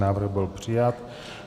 Návrh byl přijat.